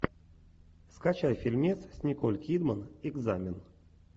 скачай фильмец с николь кидман экзамен